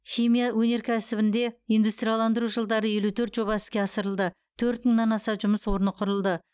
химия өнеркәсібінде индустрияландыру жылдары елу төрт жоба іске асырылды төрт мыңнан аса жұмыс орны құрылды